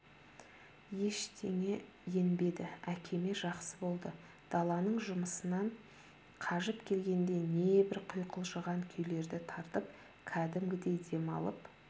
ештеңе енбеді әкеме жақсы болды даланың жұмысынан қажып келгенде небір құйқылжыған күйлерді тартып кәдімгідей демалып